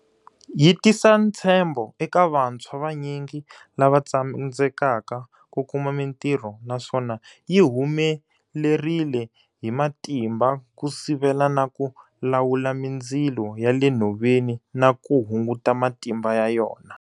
Yi tisa ntshembo eka vantshwa vanyingi lava tsandzekaka ku kuma mitirho naswona yi humelerile hi matimba ku sivela na ku lawula mindzilo ya le nhoveni na ku hunguta matimba ya yona.